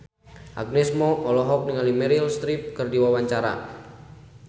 Agnes Mo olohok ningali Meryl Streep keur diwawancara